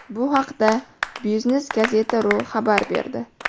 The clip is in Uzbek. Bu haqda Business-gazeta.ru xabar berdi .